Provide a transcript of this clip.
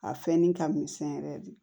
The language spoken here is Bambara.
A fɛnnin ka misɛn yɛrɛ de